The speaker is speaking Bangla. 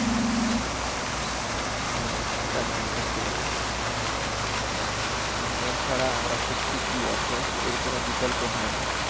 হ্যাঁ সেটা তো একদম সত্যি কথা Internet ছাড়া আমরা সত্যি খুব অচল এর কোনো বিকল্প হয়না।